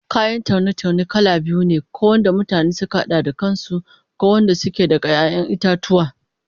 Kayan taune-taune kala biyu ne, ko wanda mutane suka hada da kan su, ko wadanda suke daga 'ya'yan itatuwa